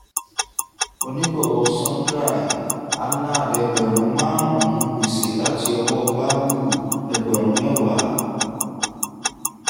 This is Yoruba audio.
onígbọ̀wọ́ sundry - anand ẹgbẹ̀rún márùn-ún; gbèsè láti ọwọ́ bablu ẹgbẹ̀rún mẹ́wàá